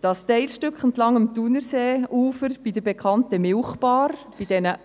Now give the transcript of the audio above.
Das Teilstück entlang dem Thunerseeufer bei der bekannten Milchbar wurde dann